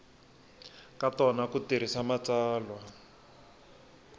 ka tona ku tirhisa matsalwa